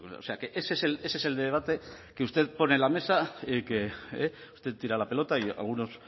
o sea que ese es el debate que usted pone en la mesa que usted tira la pelota y algunos